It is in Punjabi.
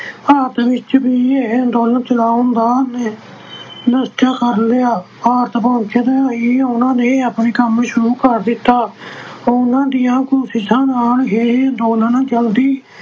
ਭਾਰਤ ਵਿੱਚ ਵੀ ਇਹ ਅੰਦੋਲਨ ਚਲਾਉਣ ਦਾ ਨਿਸ਼ਚਾ ਕਰ ਲਿਆ, ਭਾਰਤ ਪਹੁੰਚਣ ਲਈ ਉਹਨਾਂ ਨੇ ਆਪਣੇ ਕੰਮ ਸ਼ੁਰੂ ਕਰ ਦਿੱਤਾ ਉਹਨਾਂ ਦੀਆਂ ਕੋਸ਼ਿਸ਼ਾਂ ਨਾਲ ਇਹ ਅੰਦੋਲਨ ਜਲਦੀ